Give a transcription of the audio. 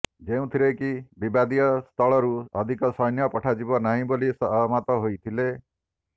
ଯେଉଁଥିରେ କି ବିବାଦୀୟ ସ୍ଥଳରୁ ଅଧିକ ସୈନ୍ୟ ପଠାଯିବ ନାହିଁ ବୋଲି ସହମତ ହୋଇଥିଲେ